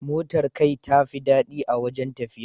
Motar kai tafi daɗi a wajen tafiya.